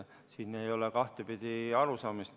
Siin ei ole kahtepidi arusaamist.